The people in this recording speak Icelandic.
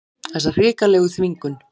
Þessa hrikalegu þvingun.